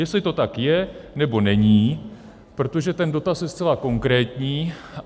Jestli to tak je, nebo není, protože ten dotaz je zcela konkrétní.